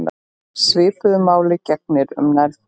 Svipuðu máli gegnir um nærföt.